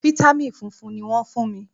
Fítámìn funfun ni wọ́n fún mi.